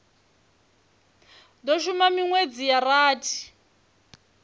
do shuma minwedzi ya rathi